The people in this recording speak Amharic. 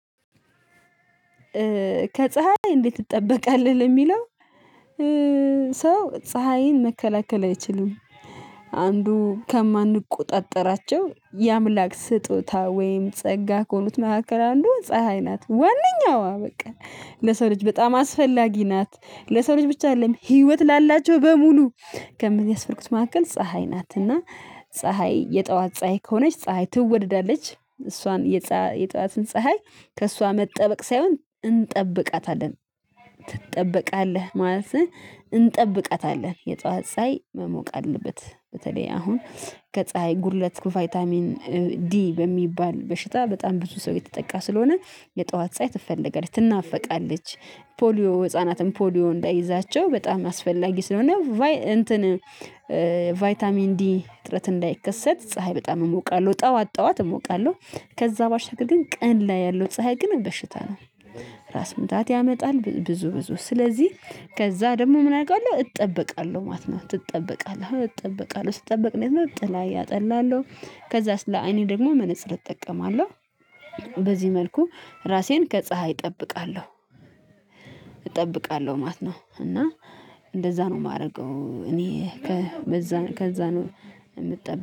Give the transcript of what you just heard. ከፀሀይ እንዴት ትጠበቃለህ? ለሚለው ሰው ፀሀይን መከላከል አይችልም። አንዱ ከማንቆጣጠራቸው የአምላክ ስጦታ ወይም ጸጋ ከሆኑት መካከል አንዱ ፀሀይ ናት። ዋነኝዋ በቃ ለሰው ልጅ በጣም አስፈላጊ ናት። ለሰው ልጅ ብቻ አይደለም ህይወት ላላቸው በሙሉ ከሚያስፈልጉት መካከል ፀሀይ ናት። እና ፀሀይ የጥዋት ፀሀይ ከሆነች ፀሀይ ትወደዳለች እሷን የጠዋትን ፀሀይ ከእሷ መጠበቅ ሳይሆን እንጠብቃታለን። ትጠበቃለህ ማለትህ እንጠብቃታለን የጧት ሳይ መሞቅ አለበት። በተለይ አሁን ከፀሀይ ጉድለት ቫይታሚን ዲ በሚባል በሽታ በጣም ብዙ ሰው እየተጠቃ ስለሆነ የጠዋት ፀሀይ ትፈልጋለች። ትናፈቃለች። ፖሊዮ ህፃናትን ፖሊዮ እንዳይዛቸው በጣም አስፈላጊ ስለሆነ እንትን ቫይታሚን ዲ እጥረት እንዳይከሰት ፀሀይ በጣም እሞቃለሁ ጠዋት ጠዋት እሞቃለሁ። ከዛ ባሻገር ግን ቀን ላይ ያለው ፀሀይ ግን በሽታ ነው። ራስ ምታት ያመጣል ብዙ ብዙ ስለዚህ ከዛ ደግሞ ምን አሪጋለሁ እጠበቃለሁ ማለት ነው። ትጠበቃለህ እጠበቃለሁ ስትጠበቅ እኔ ነው ጥላ እጠለላለሁ። ከዛስ ለአይኔ ደግሞ መነፅር እጠቀማለሁ። በዚህ መልኩ ራሴን ከፀሀይ እጠብቃለሁ። እጠብቃለሁ ማለት ነው። እና እንደዛ ነው የማደርገው እኔ በዛ ከዛ ነው የምጠብቀው